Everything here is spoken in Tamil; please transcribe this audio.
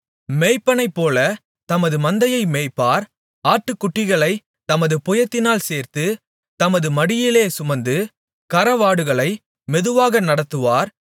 மேய்ப்பனைப்போல தமது மந்தையை மேய்ப்பார் ஆட்டுக்குட்டிகளைத் தமது புயத்தினால் சேர்த்து தமது மடியிலே சுமந்து கறவலாடுகளை மெதுவாக நடத்துவார்